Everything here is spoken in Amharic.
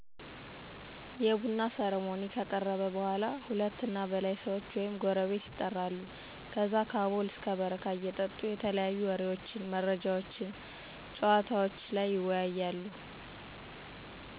የቡና ሰርሞኒ ከቀረበ በኃላ ሁለት እና በላይ ሰዎች ወይም ጎረቤት የጠራሉ ከዛ ከአቦል እስከ በረካ እየጠጡ የተለያዩ ወሬዎች፣ መረጃዎችነ፣ ጨዋታወችን ይወያያሉ